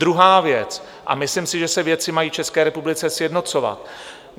Druhá věc, myslím si, že se věci mají v České republice sjednocovat.